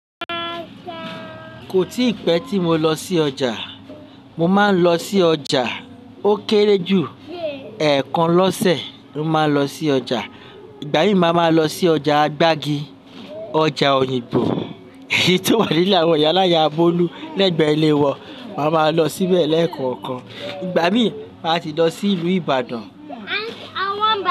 Kò tí pẹ́ tí mo lọ sí ọjà. Mo máa ń lọ sí ọjà. Ó kéré jù. Ẹ́ẹ̀kan lọ́sẹ̀ mo máa lọ sí ọjà. Ìgbà mí máa máa lọ sí ọjà gbági, ọjà Òyìngbò tí ó wà ní ìle àwọn iyalaya Bolu, lẹ́gbẹ̀ẹ́ ilé wọn. Máa ma lọ síbẹ̀ lẹ́ẹ̀kookan. Ìgbà mí a ti lọ sí ìlú Ibadan.